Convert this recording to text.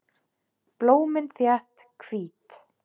Blómin þétt, hvít.